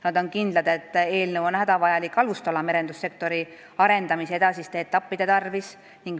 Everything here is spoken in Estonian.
Nad on kindlad, et eelnõu on hädavajalik alustala merendussektori arendamise edasiste etappide tarvis.